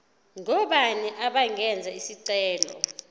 ngobani abangenza isicelo